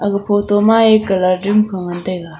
e photo ma e colour doom phang ngan taiga.